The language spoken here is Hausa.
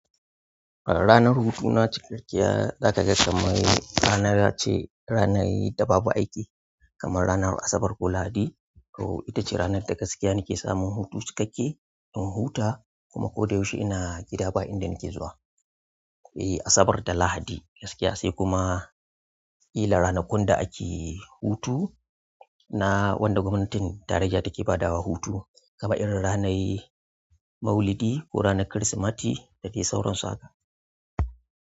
Ranar hutu na cikakkiya zakaga kamar ra nai ce, ranar da babu aiki kamar ranar asabar ko lahadi to ita ce ranar da gaskiya nake samun hutu cikakke, in huta, kuma ko da yaushe ina gida ba inda nake zuwa. E, Asabar da Lahadi gaskiya sai kuma kila ranakun da ake, hutu na, wanda gwamnatin tarayya take badawa hutu kamar irin ranai Maulidi ko ranar Kirsimati da dai sauran su haka.